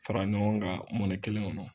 Fara ɲɔgɔn ka mɔnɛ kelen kɔnɔ.